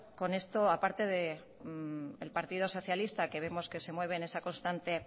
con esto a parte del partido socialista que vemos que se mueve en esa constante